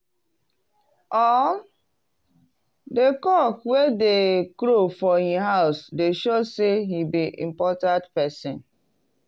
all the cock wey dey crow for him house dey show say he be important person.